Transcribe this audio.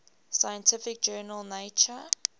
scientific journal nature